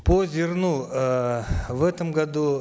по зерну эээ в этом году